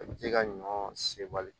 A bɛ t'i ka ɲɔ sewari